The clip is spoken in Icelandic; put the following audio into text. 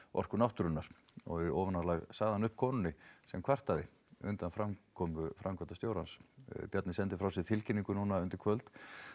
Orku náttúrunnar og í ofanálag sagði hann upp konunni sem kvartaði undan framkomu framkvæmdastjórans Bjarni sendi frá sér tilkynningu undir kvöld